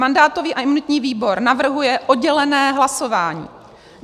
Mandátový a imunitní výbor navrhuje oddělené hlasování.